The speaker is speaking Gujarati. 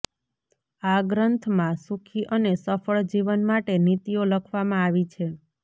આ ગ્રંથમાં સુખી અને સફળ જીવન માટે નીતિઓ લખવામાં આવી છે